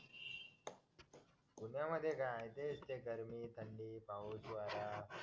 पुण्यामध्ये काय तेच ते गरमी थंडी पाऊस वारा